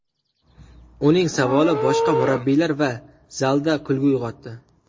Uning savoli boshqa murabbiylar va zalda kulgu uyg‘otdi.